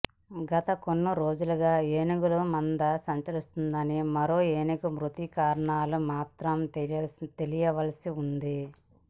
గత కొన్ని రోజులుగా ఏనుగుల మంద సంచరిస్తుందని మరో ఏనుగు మృతి కారణాలు మాత్రం తెలియాల్సి వుంది